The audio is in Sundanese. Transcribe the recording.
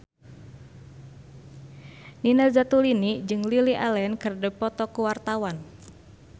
Nina Zatulini jeung Lily Allen keur dipoto ku wartawan